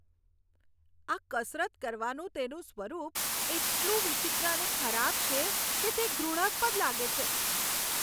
આ કસરત કરવાનું તેનું સ્વરૂપ એટલું વિચિત્ર અને ખરાબ છે કે તે ઘૃણાસ્પદ લાગે છે.